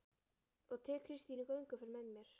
Og tek Kristínu í gönguferðir með mér